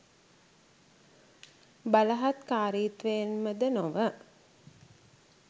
බලහත්කාරීත්වයෙන් ම ද නොව